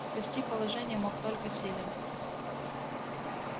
спасти положение мог только селен